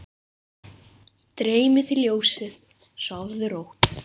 Dreymi þig ljósið, sofðu rótt.